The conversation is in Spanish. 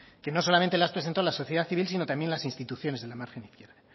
que no solamente las presentó la sociedad civil sino también las instituciones de la margen izquierda